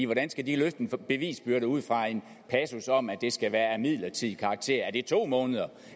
hvordan skal de løfte en bevisbyrde ud fra en passus om at det skal være af midlertidig karakter er det to måneder